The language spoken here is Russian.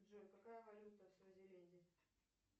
джой какая валюта в свазиленде